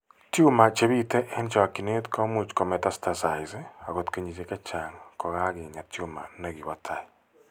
Tumor che biite eng' chokchineet ko much ko metastasize akot kenyisiek chechang' ko kakenyaa tumor ne ki po tai.